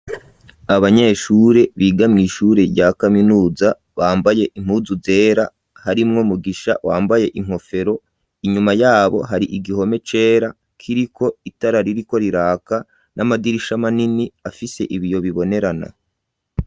Abanyeshure biga mw’ishure rya kaminuza bambaye impuzu zera harimwo Mugisha wambaye inkofero inyuma yabo hari igihome cera kiriko itara ririko riraka n'amadirisha manini afise ibiyo bibonerana.